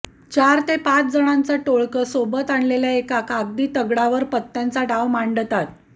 चार ते पाच जणांचं टोळकं सोबत आणलेल्या एका कागदी तगडावर पत्त्यांचा डाव मांडतात